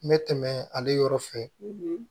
N bɛ tɛmɛ ale yɔrɔ fɛ